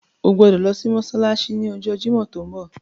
O gbodo lo si mósálásí ni ọjọ Jimọ ti nbọ.